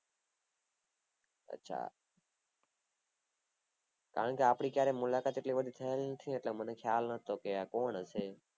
અચ્છા કારણ કે આપડી એટલી મુલાકાત થય નથી એટલે મને ખ્યાલ નથી